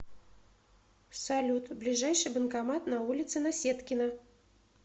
салют ближайший банкомат на улице наседкина